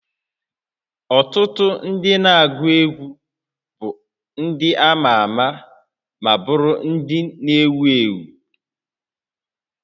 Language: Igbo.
Ọtụtụ ndị na-agụ egwu bụ ndị ama ama ma bụrụ ndị ewu ewu